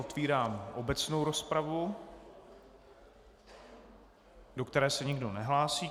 Otevírám obecnou rozpravu, do které se nikdo nehlásí.